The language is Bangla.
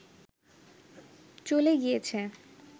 চলে গিয়েছে